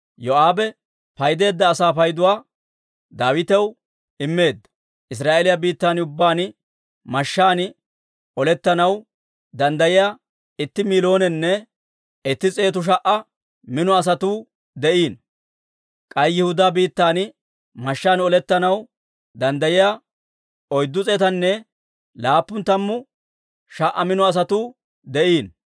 Yoo'aabe paydeedda asaa payduwaa Daawitaw immeedda. Israa'eeliyaa biittan ubbaan mashshaan olettanaw danddayiyaa itti miilonenne itti s'eetu sha"a mino asatuu de'iino. K'ay Yihudaa biittan mashshaan olettanaw danddayiyaa oyddu s'eetanne laappun tammu sha"a mino asatuu de'iino.